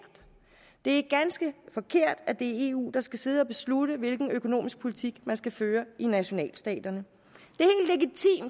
det er ganske forkert at det er eu der skal sidde at beslutte hvilken økonomisk politik man skal føre i nationalstaterne